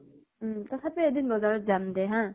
তথাপিও বজাৰত এদিন যাম দে হা?